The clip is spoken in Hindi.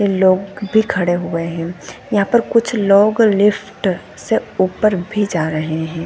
--लोग भी खड़े हुए है यहाँ पर कुछ लोग लिफ्ट से ऊपर भी जा रहे है।